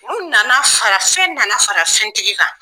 U nana fara fɛn nana fara fɛntigi kan.